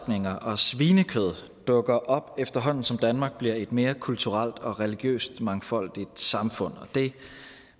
og svinekød dukker op efterhånden som danmark bliver et mere kulturelt og religiøst mangfoldigt samfund og det